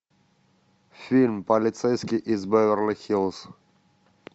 фильм полицейский из беверли хиллз